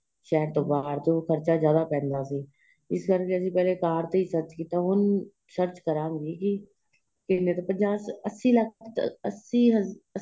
ਸ਼ਹਿਰ ਤੋ ਬਹਾਰ ਤੋ ਖਰਚਾ ਜਿਆਦਾ ਪੈਂਦਾ ਸੀ ਇਸ ਕਰਕੇ ਅਸੀਂ ਪਹਿਲੇ ਕਾਰ ਤੇ ਹੀ search ਕੀਤਾ ਏ ਹੁਣ search ਕਰਾਗੇ ਕਿ ਕਿੰਨੇ ਪੰਜਾਹ ਅੱਸੀ ਲੱਖ਼ ਅੱਸੀ